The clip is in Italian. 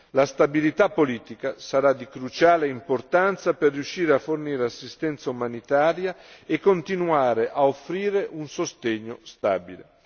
La stabilità politica sarà di cruciale importanza per riuscire a fornire assistenza umanitaria e continuare a offrire un sostegno stabile.